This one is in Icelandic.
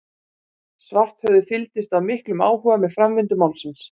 Svarthöfði fylgdist af miklum áhuga með framvindu málsins.